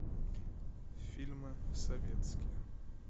фильмы советские